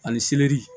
Ani seleri